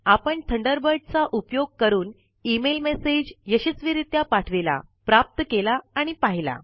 आपण थंडरबर्ड चा उपयोग करून ईमेल मैसेज यशस्वीरीत्या पाठविला प्राप्त केला आणि पहिला